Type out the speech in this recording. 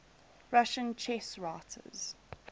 russian chess writers